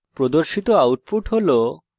প্রদর্শিত output হল